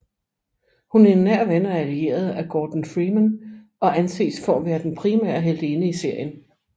Hun er en nær ven og allieret af Gordon Freeman og anses for at være den primære heltinde i serien